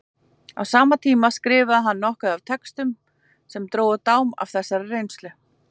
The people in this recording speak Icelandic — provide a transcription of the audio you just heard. Á sama tíma skrifaði hann nokkuð af textum sem drógu dám af þessari reynslu.